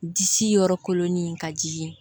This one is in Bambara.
Disi yɔrɔ kolonni in ka jigin